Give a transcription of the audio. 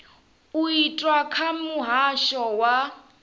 u itwa kha muhasho wa